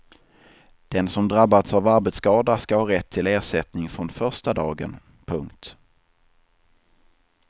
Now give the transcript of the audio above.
Den som drabbats av arbetsskada ska ha rätt till ersättning från första dagen. punkt